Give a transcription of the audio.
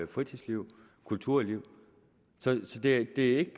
fritidsliv og kulturliv så det er ikke